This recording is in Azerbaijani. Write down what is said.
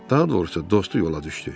Daha doğrusu dostu yola düşdü.